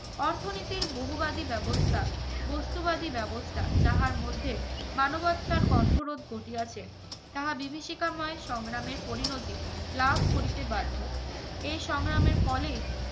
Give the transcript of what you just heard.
অর্থনীতির বহুবাদি ব্যবস্থা বস্তুবাদী ব্যবস্থা যাহার মধ্যে মানবতার কণ্ঠরোধ ঘটিয়াছে তাহা বিভীষিকাময় সংগ্রামের পরিণতি লাভ করিতে বাধ্য। এই সংগ্রামের